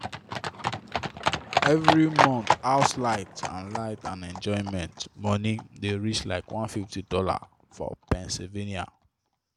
every month house light and light and enjoyment money dey reach like $150 for pennsylvania